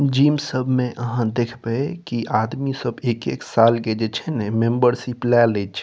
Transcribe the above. Gym सब में आहां देखबे कि आदमी सब एक-एक साल के जे छै ने मेम्बरशिप ले लिछ।